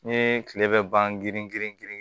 N ye tile bɛ ban girin girin